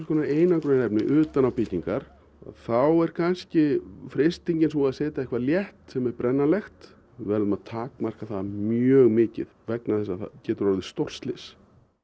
einangrunarefni utan á byggingar þá er kannski freistingin sú að setja eitthvað létt sem er brennanlegt við verðum að takmarka það mjög mikið vegna þess að það getur orðið stórslys